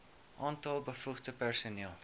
aantal bevoegde personeel